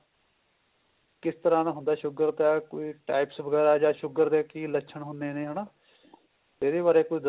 ਕਿਸ ਤਰ੍ਹਾਂ ਦਾ ਹੁੰਦਾ sugar ਦਾ ਕੋਈ types ਵਗੈਰਾ ਜਾ sugar ਦੇ ਕੀ ਲੱਛਣ ਹੁੰਦੇ ਨੇ ਹਨਾ ਇਹਦੇ ਬਾਰੇ ਕੁੱਝ ਦੱਸੋ